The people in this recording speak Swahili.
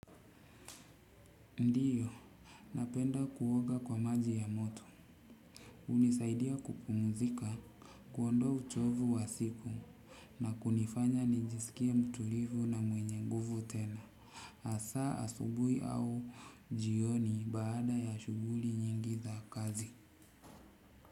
Ndiyo napenda kuoga kwa maji ya moto hunisaidia kupumzika kuondoa uchovu wa siku na kunifanya nijiskie mtulivu na mwenye nguvu tena hasa asubuhi au jioni baada ya shughuli nyingi za kazi.